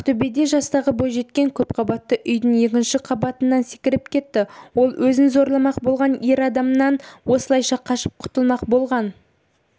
ақтөбеде жастағы бойжеткен көпқабатты үйдің екінші қабатынан секіріп кетті ол өзін зорламақ болған ер адамнан осылайша қашып құтылмақ болған